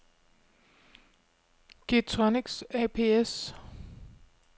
Getronics ApS